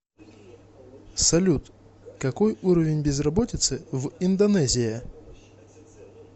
салют какой уровень безработицы в индонезия